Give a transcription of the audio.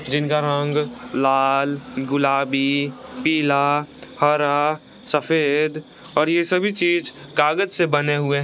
जिनका रंग लाल गुलाबी पिला हरा सफेद और ये सभी चीज कागज के बने हुए हैं।